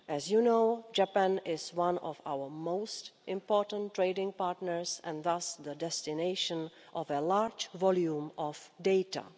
As you know, Japan is one of our most important trading partners, and thus the destination of a large volume of data.